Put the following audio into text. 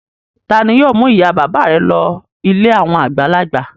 Ta ni yóò mú ìyá-bàbá rẹ lọ ilé àwọn àgbàlagbà?